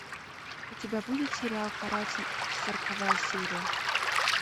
у тебя будет сериал каратель сороковая серия